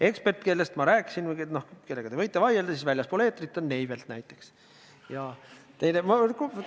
Ekspert, keda ma silmas pidasin ja kellega te võite väljaspool eetrit vaielda, on Neivelt näiteks.